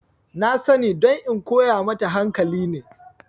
Na sani don in koya mata hankali ne